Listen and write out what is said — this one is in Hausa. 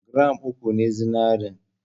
Gram uku ne zinarin.